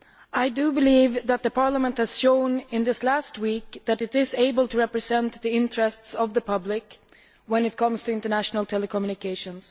I do believe that Parliament has shown in this last week that it is able to represent the interests of the public when it comes to international telecommunications.